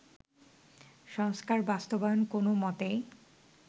সংস্কার বাস্তবায়ন কোনো মতেই